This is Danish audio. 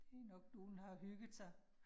Det nok nogen, der har hygget sig